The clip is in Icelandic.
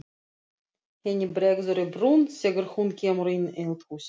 Henni bregður í brún þegar hún kemur inn í eldhúsið.